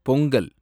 Pongal